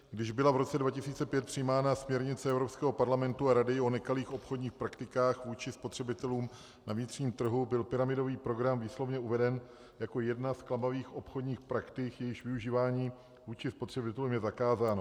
Když byla v roce 2005 přijímána směrnice Evropského parlamentu a Rady o nekalých obchodních praktikách vůči spotřebitelům na vnitřním trhu, byl pyramidový program výslovně uveden jako jedna z klamavých obchodních praktik, jejíž využívání vůči spotřebitelům je zakázáno.